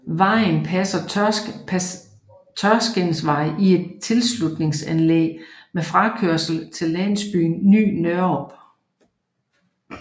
Vejen passer Tørskindvej i et tilslutningsanlæg med frakørsel til landsbyen Ny Nørup